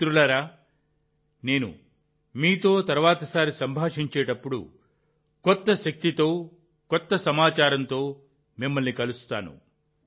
మిత్రులారా నేను మీతో తర్వాతిసారి సంభాషించేటప్పుడు కొత్త శక్తితో కొత్త సమాచారంతో మిమ్మల్ని కలుస్తాను